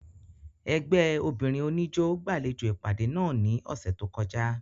Ẹgbẹ obinrin oniijó gbalejo ipade náa ni ọsẹ to kọja.